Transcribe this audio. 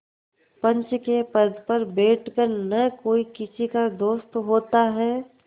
पंच के पद पर बैठ कर न कोई किसी का दोस्त होता है